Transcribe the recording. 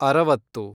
ಅರವತ್ತು